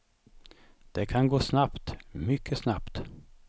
Det kan gå snabbt, mycket snabbt.